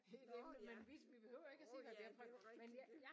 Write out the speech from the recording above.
Nåh ja øh det jo rigtigt